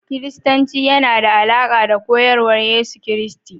Kiristanci yana da alaƙa da koyarwar Yesu Kiristi